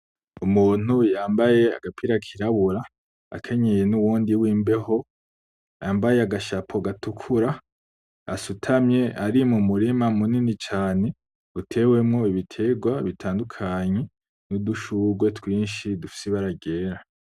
Umuntu yambaye agapira kirabura akenyeye nuwundi w'imbeho yambaye agashapo gatukuru, asutamye ari mu murima munini cane utewemwo ibiterwa bitandukanye. N'udushugwe twinshi dufise ibara ryera.